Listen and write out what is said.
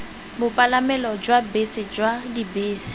bopalamelo jwa bese jwa dibese